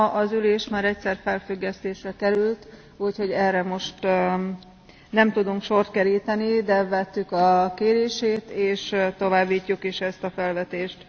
Ma az ülés már egyszer felfüggesztésre került, úgyhogy erre most nem tudunk sort keríteni, de vettük a kérését és továbbítjuk is ezt a felvetést.